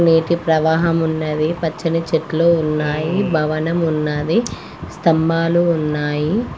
నేటి ప్రవాహం ఉన్నది. పచ్చని చెట్లు ఉన్నాయి. భవనం ఉన్నది. స్తంభాలు ఉన్నాయి.